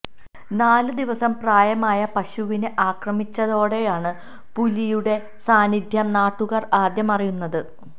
നാല് ദിവസം പ്രായമായ പശുവിനെ ആക്രമിച്ചതോടെയാണ് പുലിയുടെ സാന്നിധ്യം നാട്ടുകാര് ആദ്യം അറിയുന്നത്